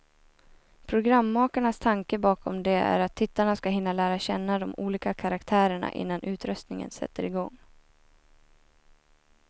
Programmakarnas tanke bakom det är att tittarna ska hinna lära känna de olika karaktärerna, innan utröstningen sätter igång.